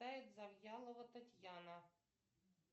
завьялова татьяна